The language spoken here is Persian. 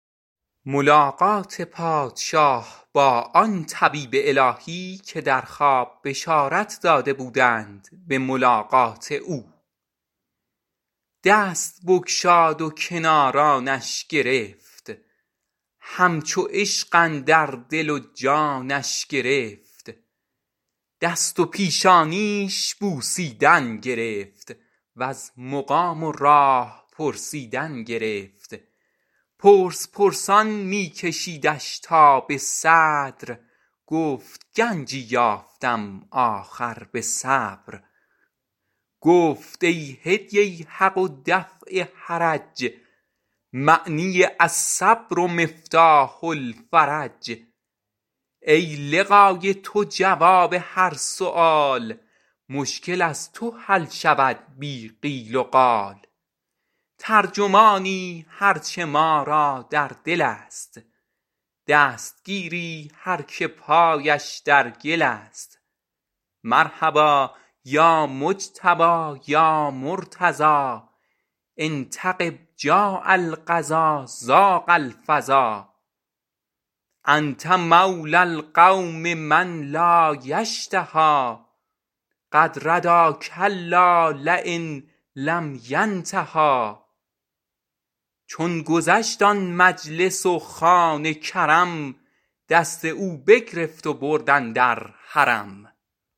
دست بگشاد و کنارانش گرفت همچو عشق اندر دل و جانش گرفت دست و پیشانیش بوسیدن گرفت وز مقام و راه پرسیدن گرفت پرس پرسان می کشیدش تا به صدر گفت گنجی یافتم آخر به صبر گفت ای نور حق و دفع حرج معنی الصبر مفتاح الفرج ای لقای تو جواب هر سؤال مشکل از تو حل شود بی قیل وقال ترجمانی هرچه ما را در دل است دستگیری هر که پایش در گل است مرحبا یا مجتبی یا مرتضی إن تغب جاء القضا ضاق الفضا انت مولی القوم من لا یشتهی قد ردی کلا لین لم ینتهی چون گذشت آن مجلس و خوان کرم دست او بگرفت و برد اندر حرم